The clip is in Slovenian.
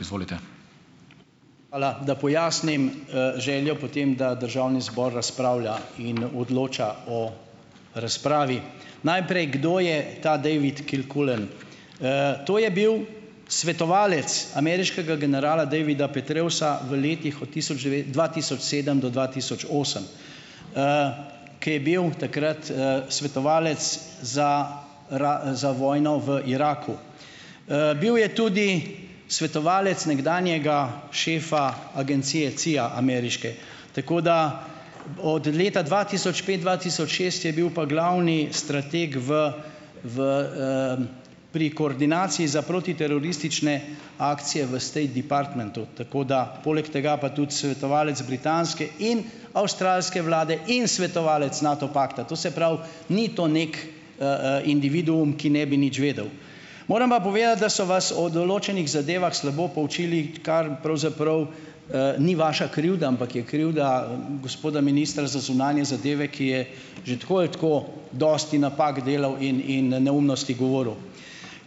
Izvolite. Hvala. Da pojasnim, željo po tem, da državni zbor razpravlja in odloča o razpravi. Najprej, kdo je ta David Kilcullen. to je bil svetovalec ameriškega generala Davida Petraeusa v letih od tisoč dva tisoč sedem do dva tisoč osem. kaj bil takrat, svetovalec za za vojno v Iraku. bil je tudi svetovalec nekdanjega šefa agencije CIA, ameriške. Tako, da od leta dva tisoč pet, dva tisoč šest je bil pa glavni strateg v, v, pri koordinaciji za protiteroristične akcije v State departmentu. Tako da poleg tega pa tudi svetovalec britanske in avstralske vlade in svetovalec Nato pakta. To se pravi, ni to neki, individuum, ki ne bi nič vedel. Moram pa povedati, da so vas o določenih zadevah slabo poučili, kar pravzaprav, ni vaša krivda, ampak je krivda gospoda ministra za zunanje zadeve, ki je že tako ali tako dosti napak delal in in neumnosti govoril.